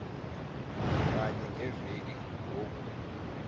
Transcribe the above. kanye ngeveki ngoku